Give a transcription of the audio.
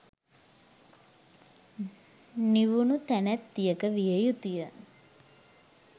නිවුණු තැනැත්තියක විය යුතු ය.